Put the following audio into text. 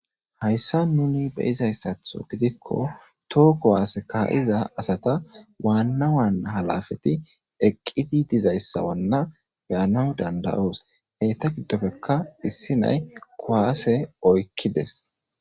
hayssa nuni beyizayssatho gidikko too kuwaase ka iza asata waannawan halafeti eqqidi dizayssawanna beyanaw dandayoos heyta giddofekka issi nay kowaase oykkides